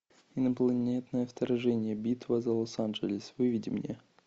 инопланетное вторжение битва за лос анджелес выведи мне